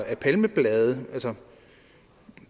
af palmeblade